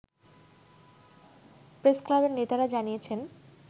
প্রেসক্লাবের নেতারা জানিয়েছেন